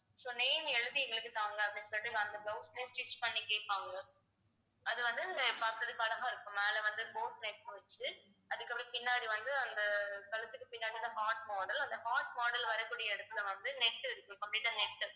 so name எழுதி எங்களுக்கு தாங்க அப்படின்னு சொல்லிட்டு அந்த blouse தான் stitch பண்ணி கேட்பாங்க அது வந்து பார்க்கிறதுக்கு அழகா இருக்கும் மேல வந்து boat neck வெச்சி அதுக்கப்பறம் பின்னாடி வந்து அந்த கழுத்துக்கு பின்னாடிதான் heart model அந்த heart model வரக்கூடிய இடத்துல வந்து net complete இருக்கும் net உ